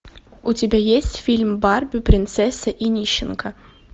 у тебя есть фильм барби принцесса и нищенка